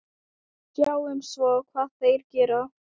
Sjáum svo hvað þeir gera.